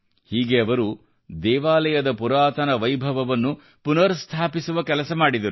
ಹೀಗೆ ಅವರು ದೇವಾಲಯದ ಪುರಾತನ ವೈಭವವನ್ನು ಪುನರ್ ಸ್ಥಾಪಿಸುವ ಕೆಲಸ ಮಾಡಿದರು